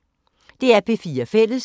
DR P4 Fælles